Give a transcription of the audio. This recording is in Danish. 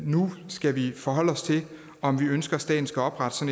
nu skal vi forholde os til om vi ønsker at staten skal oprette